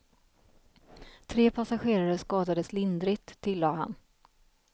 Tre passagerare skadades lindrigt, tilllade han.